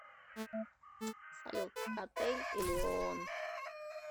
салют отель элион